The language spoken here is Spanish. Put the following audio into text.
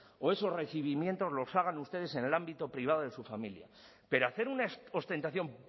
o esos recibimientos los hagan ustedes en el ámbito privado de su familia pero hacer una ostentación